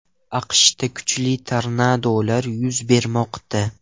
AQShda kuchli tornadolar yuz bermoqda .